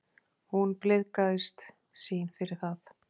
Hún blygðaðist sín fyrir það.